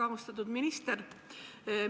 Väga austatud minister!